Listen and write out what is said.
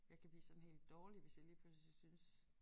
Jeg kan bliver sådan helt dårlig hvis jeg lige pludselig synes